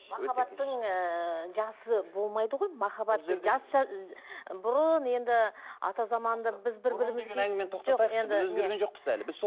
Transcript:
махаббаттың ыыы жасы болмайды ғой махаббаттың жас бұрын енді ата заманда біз бір бірімізге әңгімені тоқтатайықшы біз өзгерген жоқпыз әлі